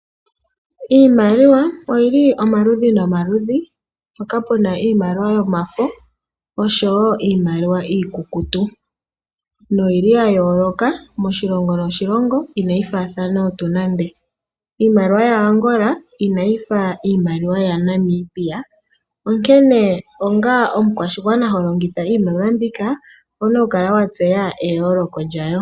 Iimaliwa oyi li omaludhi nomaludhi mpoka pu na iimaliwa yomafo oshowo iimaliwa iikukutu noyi li yaa yooloka moshilongo noshilongo inayi faathana tuu nande. Iimaliwa yaAngola inayi fa iimaliwa yaNamibia. Onkene onga omukwashigwana ho longitha iimaliwa mbika owu na okukala wa tseya eyooloko lyayo.